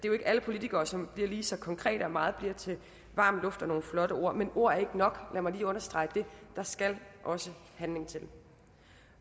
er alle politikere som bliver lige så konkrete og at meget bliver til varm luft og nogle flotte ord men ord er ikke nok lad mig lige understrege det der skal også handling til